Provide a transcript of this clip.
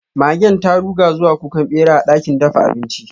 Magen ta ruga zuwa kukan bera a dakin dafa abinci.